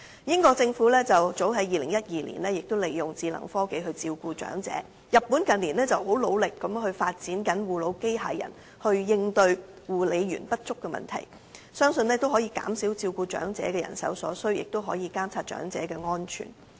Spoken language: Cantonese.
英國政府早於2012年已利用智能科技照顧長者，而日本近年亦努力發展護老機械人來應對護理員不足的問題，相信可以減少照顧長者所需人手，亦可以監察長者的安全。